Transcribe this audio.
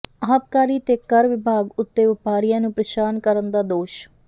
ਆਬਕਾਰੀ ਤੇ ਕਰ ਵਿਭਾਗ ਉੱਤੇ ਵਪਾਰੀਆਂ ਨੂੰ ਪ੍ਰੇਸ਼ਾਨ ਕਰਨ ਦਾ ਦੋਸ਼